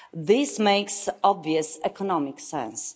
This makes obvious economic sense.